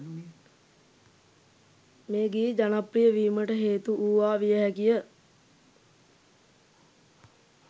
මේ ගී ජනප්‍රිය වීමට හේතු වූවා විය හැකිය